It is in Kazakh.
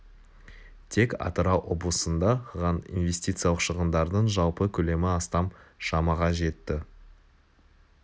тек атырау облысында ған инвестициялық шығындардың жалпы көлемі астам шамаға жетті